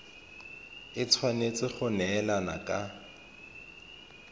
e tshwanetse go neelana ka